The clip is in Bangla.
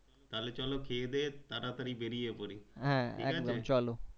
হ্যাঁ একদম